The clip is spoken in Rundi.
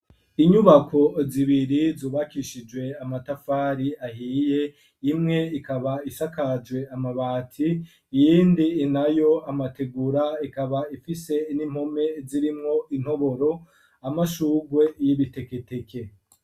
Inyubako zibiri, zubakishijwe amatafari ahiye, imwe ikaba isakajwe amabati, iyindi nayo amategura, ikaba ifise n'impome zirimwo intoboro, amashugwe y'ibiteketeke.